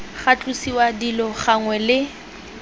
ga tlosiwa dilo gangwe le